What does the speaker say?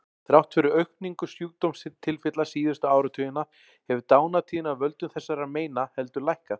Þrátt fyrir aukningu sjúkdómstilfella síðustu áratugina hefur dánartíðni af völdum þessara meina heldur lækkað.